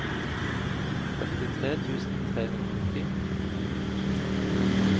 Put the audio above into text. førtitre tusen tre hundre og ti